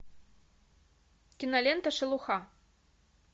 кинолента шелуха